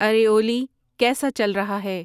ارے اوولی کیسا چل رہا ہے